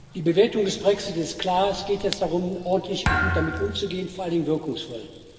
Die Bewertung des Brexit ist klar. Es geht jetzt darum, ordentlich und gut damit umzugehen, vor allen Dingen wirkungsvoll.